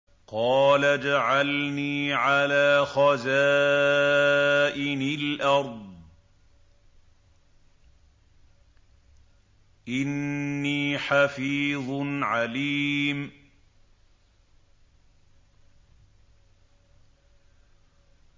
قَالَ اجْعَلْنِي عَلَىٰ خَزَائِنِ الْأَرْضِ ۖ إِنِّي حَفِيظٌ عَلِيمٌ